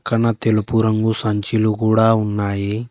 పక్కన తెలుపు రంగు సంచిలు కూడా ఉన్నాయి.